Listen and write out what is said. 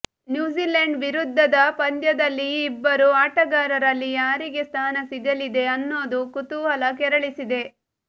New Zealand ವಿರುದ್ಧದ ಪಂದ್ಯದಲ್ಲಿ ಈ ಇಬ್ಬರು ಆಟಗಾರರಲ್ಲಿ ಯಾರಿಗೆ ಸ್ಥಾನ ಸಿಗಲಿದೆ ಅನ್ನೋದು ಕುತೂಹಲ ಕೆರಳಿಸಿದೆ